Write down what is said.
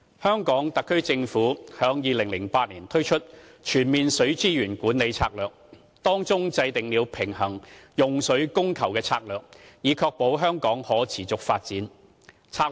香港特區政府在2008年推出《全面水資源管理策略》，制訂了平衡用水供求的策略，以確保香港可持續發展。